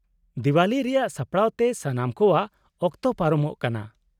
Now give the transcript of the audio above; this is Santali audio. -ᱫᱮᱶᱟᱞᱤ ᱨᱮᱭᱟᱜ ᱥᱟᱯᱲᱟᱣᱛᱮ ᱥᱟᱱᱟᱢ ᱠᱚᱣᱟᱜ ᱚᱠᱚᱛ ᱯᱟᱨᱚᱢᱚᱜ ᱠᱟᱱᱟ ᱾